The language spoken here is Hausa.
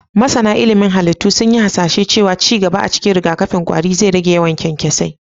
Masana ilimin halittu sun yi hasashen cewa ci gaba a cikin rigakafin ƙwari zai rage yawan kyankyasai.